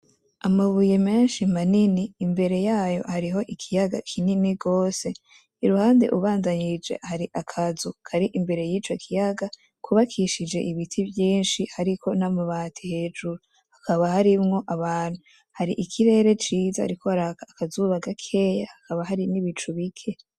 Amabuye menshi manini imbere yayo hariho ikiyaga kinini gose iruhande ubandanije hari akazu kari imbere yico kiyaga kubakishije ibiti vyinshi hariko n'amabati hejuru, hakaba harimwo abantu, hari ikirere ciza hariko haraka akazuba gakeya hakaba hari n'ibicu bike.